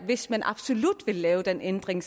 hvis man absolut vil lave den ændring